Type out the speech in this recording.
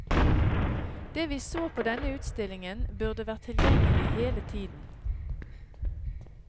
Det vi så på denne utstillingen, burde vært tilgjengelig hele tiden.